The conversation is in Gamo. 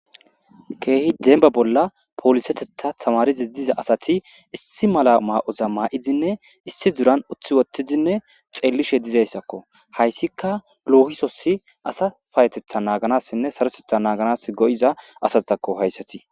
keehi demba bolla poolisetetha tamarizi diza asati issi mala ma7oza ma7idinne issi duran uthi wotizinne xeellishe dizayssakko hayssika lohisosi asa payetetha naaganassinne sarotetha naaganas go7iza asatakko hayssati.